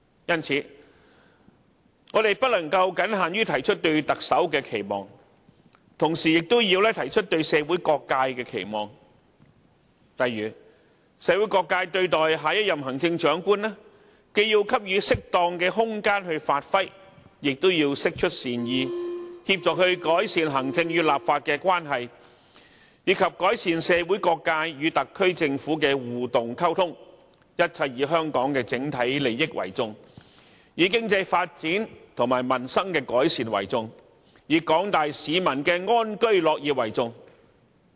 因此，我們不能僅限於提出對特首的期望，同時亦要提出對社會各界的期望，例如社會各界對待下一任行政長官，既要給予適當的空間發揮，也要釋出善意，協助改善行政與立法的關係，以及改善社會各界與特區政府的互動溝通，一切以香港的整體利益為重，以經濟發展和民生改善為重，以廣大市民的安居樂業為重。